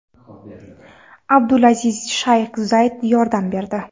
Abdul Azizga Shayx Zayd yordam berdi.